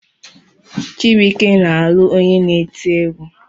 Chibụike na-alụ onye na-eti egwu.